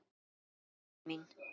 Nei, heillin mín.